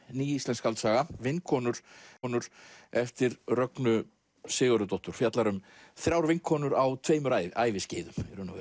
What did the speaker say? ný íslensk skáldsaga vinkonur eftir Rögnu Sigurðardóttur fjallar um þrjár vinkonur á tveimur æviskeiðum